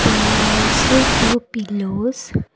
and also two pillows.